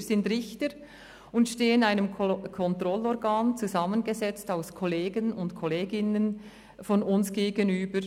Wir sind Richter und stehen einem Kontrollorgan, zusammengesetzt aus Kollegen und Kolleginnen von uns, gegenüber.